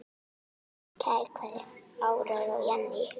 Kær kveðja, Áróra og Jenný.